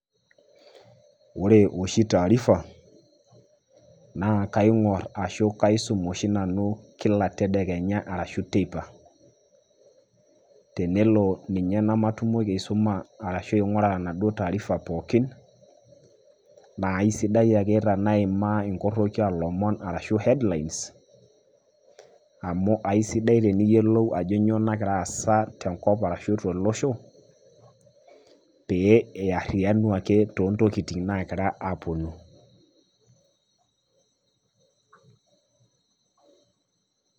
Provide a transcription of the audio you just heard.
Ore oshi taarifa ,na kaing'or ashu kaisum oshi nanu kila tedekenya ashu teipa. Tenelo ninye namatumoki aisuma ashu aing'ura enaduo taarifa pookin, na aisidai ake tanaimaa inkorroki alomon ashu headlines, amu aisidai teniyiolou ajo nyoo nagira aasa tenkop arashu tolosho, pee iarriyianu ake tontokiting' nagira aponu.